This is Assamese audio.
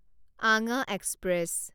আঙা এক্সপ্ৰেছ